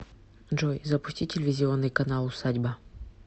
джой запусти телевизионный канал усадьба